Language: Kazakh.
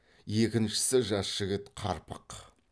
екіншісі жас жігіт қарпақ